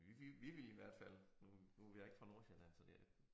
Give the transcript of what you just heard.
Men vi vi vi ville i hvert fald nu nu jeg ikke fra Nordsjælland så det er